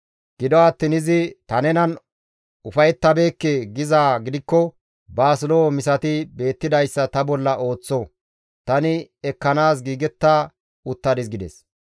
Gido attiin izi, ‹Ta nenan ufayettabeekke› gizaa gidikko baas lo7o misati beettidayssa ta bolla ooththo; tani ekkanaas giigetta uttadis» gides.